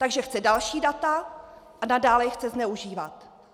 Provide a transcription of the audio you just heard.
Takže chce další data a nadále je chce zneužívat.